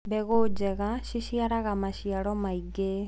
mbegũ njega ciciaraga maciaro maĩngi